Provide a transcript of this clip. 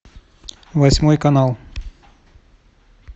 восьмой канал